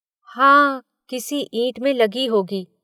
हाँ किसी ईंट में लगी होगी।